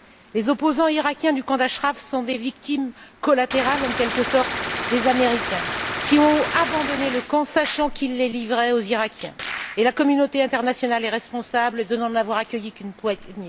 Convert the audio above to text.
Les opposants iraquiens du camp d'Achraf sont des victimes collatérales, en quelque sorte, des Américains, qui ont abandonné le camp sachant qu'ils les livraient aux Iraquiens, et la communauté internationale est responsable de n'en avoir accueilli qu'une poignée.